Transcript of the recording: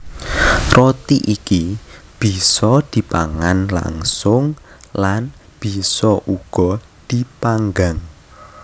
Roti iki bisa dipangan langsung lan bisa uga dipanggang